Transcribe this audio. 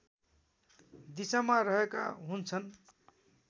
दिशामा रहेका हुन्छन्